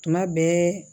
Tuma bɛɛ